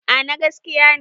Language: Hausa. A na gaskiya ne